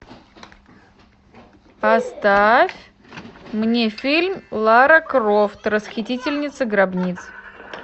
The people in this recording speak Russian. поставь мне фильм лара крофт расхитительница гробниц